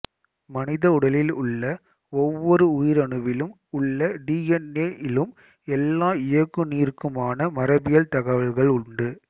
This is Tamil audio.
மனித உடலில் உள்ள ஒவ்வொரு உயிரணுவிலும் உள்ள டி என் ஏ இலும் எல்லா இயக்குநீருக்குமான மரபியல் தகவல்கள் உண்டு